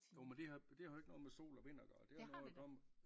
Jo men det har det har jo ikke noget med sol og vind at gøre det har noget at gøre med